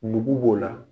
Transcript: Nugu b'o la